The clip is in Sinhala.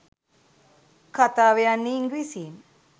කතාව යන්නේ ඉංග්‍රීසියෙන්.